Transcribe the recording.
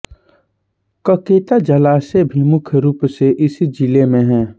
ककेता जलाशय भी मुख्य रूप से इसी ज़िले में है